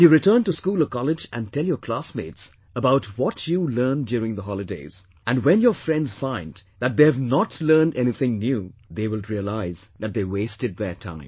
When you return to school or college and tell your classmates about what you learned during the holidays, and when your friends find that they have not learned anything new, they will realise that they wasted their time